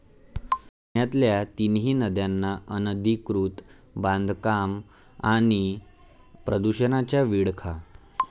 पुण्यातल्या तिन्ही नद्यांना अनधिकृत बांधकामं आणि प्रदूषणाचा विळखा